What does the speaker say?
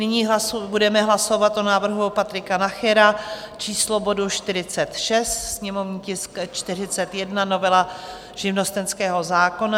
Nyní budeme hlasovat o návrhu Patrika Nachera, číslo bodu 46, sněmovní tisk 41, novela živnostenského zákona.